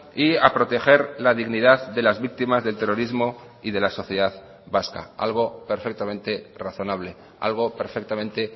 y a proteger la dignidad de las víctimas del terrorismo y de la sociedad vasca algo perfectamente razonable algo perfectamente